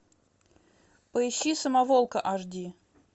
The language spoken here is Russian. поищи самоволка аш ди